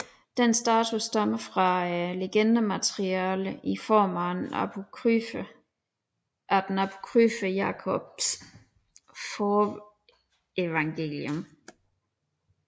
Denne status stammer fra legendemateriale i form af den apokryfe Jakobs Forevangelium